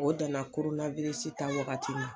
O dan na ta wagati ma